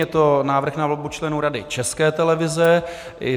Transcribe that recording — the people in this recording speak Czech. Je to návrh na volbu členů Rady České televize.